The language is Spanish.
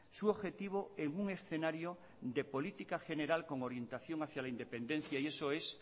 su objetivo en un escenario de política general con orientación hacia la independencia y eso es